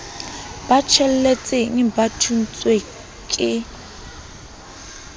ba tsheletseng ba thontshweng ke